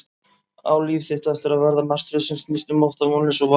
Á líf þitt eftir að verða martröð sem snýst um ótta, vonleysi og vá?